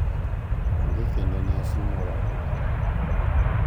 Onge kendo nyasi moro amora,